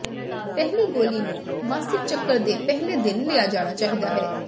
ਪਹਿਲੀ ਗੋਲੀ ਨੂੰ ਮਾਸਿਕ ਚੱਕਰ ਦੇ ਪਹਿਲੇ ਦਿਨ ਲਿਆ ਜਾਣਾ ਚਾਹੀਦਾ ਹੈ